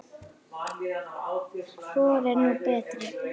Hvor er nú betri?